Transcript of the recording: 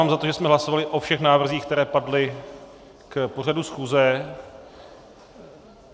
Mám za to, že jsme hlasovali o všech návrzích, které padly k pořadu schůze.